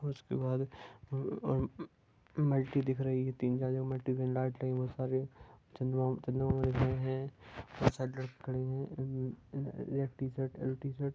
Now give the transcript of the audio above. उसके बाद मल्टी दिख रहा है इसके बाद लाइट लगी हुई हैं